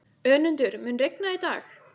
Önundur, mun rigna í dag?